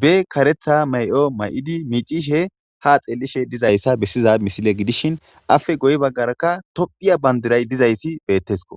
be karetha ma'o may'idi miicishe ha xeellishe dizayssa bessiza misile gidishin afe guye baggarakka tophiya bandiray dizayssi beettesko